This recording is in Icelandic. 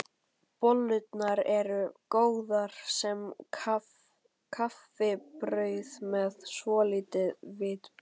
Bollurnar eru góðar sem kaffibrauð með svolitlu viðbiti.